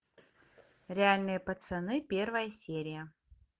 реальные пацаны первая серия